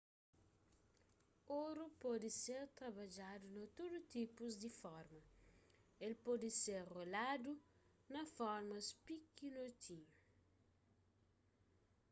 oru pode ser trabadjadu na tudu tipus di forma el pode ser roladu na formas pikinotinhu